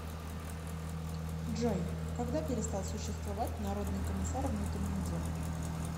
джой когда перестал существовать народный комиссар внутренних дел